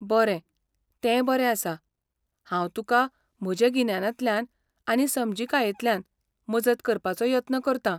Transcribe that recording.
बरें, तें बरें आसा. हांव तुका म्हजे गिन्यानांतल्यान आनी समजिकायेंतल्यान मजत करपाचो यत्न करतां.